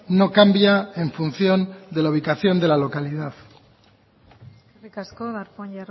no cambia en función de la ubicación de la localidad eskerrik asko darpón